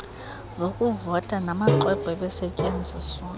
zokuvota namaxwebhu ebesetyenziswa